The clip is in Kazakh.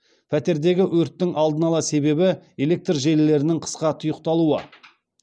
пәтердегі өрттің алдын ала себебі электр желілерінің қысқа тұйықталуы